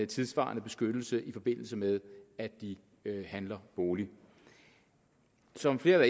tidssvarende beskyttelse i forbindelse med at de handler bolig som flere